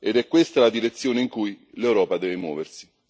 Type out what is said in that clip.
Ed è questa la direzione in cui l'Europa deve muoversi.